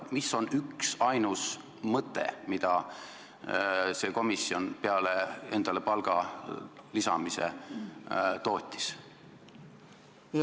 Mis on see üksainus mõte, mida see komisjon peale endale palga lisamise tootis?